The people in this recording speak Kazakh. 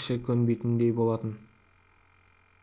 іші кебетіндей болатын